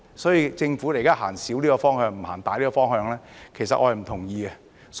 所以，政府現在走小的方向，不走大的方向，其實我是不同意的。